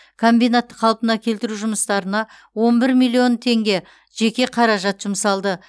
комбинатты қалпына келтіру жұмыстарына он бір миллион теңге жеке қаражат жұмсалды